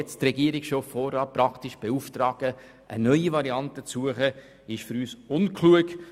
Es ist für uns unklug, die Regierung vorab zu beauftragen, eine neue Variante zu suchen.